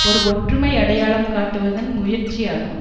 ஒரு ஒற்றுமை அடையாளம் காட்டுவதன் முயற்சி ஆகும்